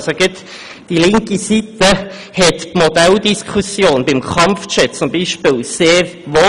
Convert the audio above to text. Gerade die linke Seite wollte beispielsweise die Modelldiskussion beim Kampfjet sehr wohl führen.